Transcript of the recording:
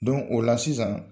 o la sisan